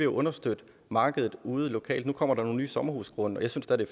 understøtte markedet ude lokalt nu kommer der nogle nye sommerhusgrunde og jeg synes da det